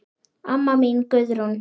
Amma mín Guðrún.